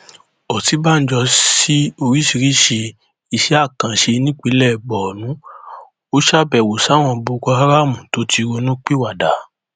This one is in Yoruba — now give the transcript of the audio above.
Ọ̀sibanjọ si oriṣiriṣi iṣẹ́ akanse nípinlẹ̀ Borno, o ṣabẹwo si àwọn boko haramu to ti ronupiwada